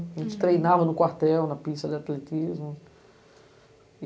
Uhum. A gente treinava no quartel, na pista de atletismo.